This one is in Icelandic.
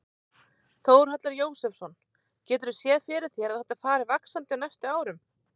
Þórhallur Jósefsson: Geturðu séð fyrir þér að þetta fari vaxandi á næstu árum?